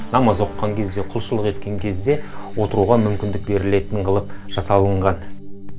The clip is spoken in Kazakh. намаз оқыған кезде құлшылық еткен кезде отыруға мүмкіндік берілетін қылып жасалынған